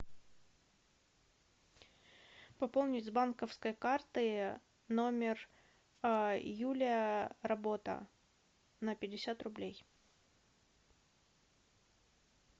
пополнить с банковской карты номер юлия работа на пятьдесят рублей